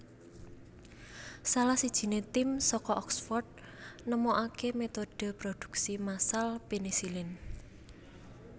Salah sijiné tim saka Oxford nemokaké metode produksi massal penisilin